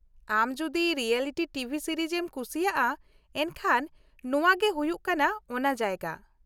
ᱟᱢ ᱡᱩᱫᱤ reality T V series ᱮᱢ ᱠᱩᱥᱤᱭᱟᱜ-ᱟ ᱮᱱᱠᱷᱟᱱ ᱱᱚᱶᱟ ᱜᱮ ᱦᱩᱭᱩᱜ ᱠᱟᱱᱟ ᱚᱱᱟ ᱡᱟᱭᱜᱟ ᱾